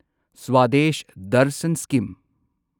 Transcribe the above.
Swadesh Darshan scheme